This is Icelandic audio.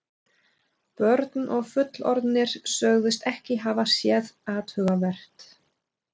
Börn og fullorðnir sögðust ekkert hafa séð athugavert.